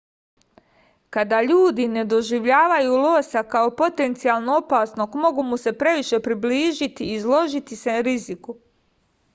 kada ljudi ne doživljavaju losa kao potencijalno opasnog mogu mu se previše približiti i izložiti se riziku